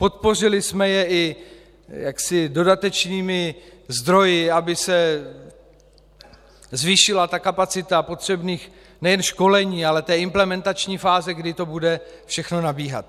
Podpořili jsme je i dodatečnými zdroji, aby se zvýšila kapacita potřebných nejen školení, ale i implementační fáze, kdy to bude všechno nabíhat.